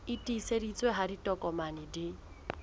e tiiseditsweng ha ditokomane di